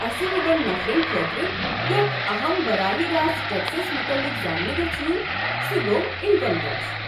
اسہِ ہوٮ۪ن نفرن خٲطرٕ ،یتھ اہم براہ راست ٹیكسس مُتعلق زانٛنہٕ گژھِ یُن، سہُ گوٚو انكم ٹیكس۔